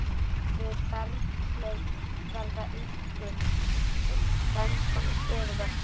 Við berghlaup verða einkum til tvennskonar stöðuvötn.